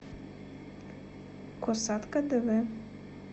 косатка дв